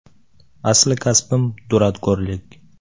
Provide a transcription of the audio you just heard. Asli kasbim – duradgorlik.